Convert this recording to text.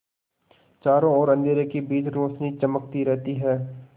चारों ओर अंधेरे के बीच रौशनी चमकती रहती है